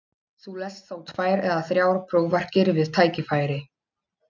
Þú lest þá tvær eða þrjár prófarkir við tækifæri.